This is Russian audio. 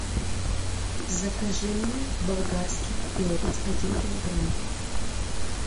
закажи мне болгарский перец один килограмм